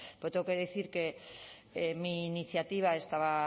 pero tengo que decir que mi iniciativa estaba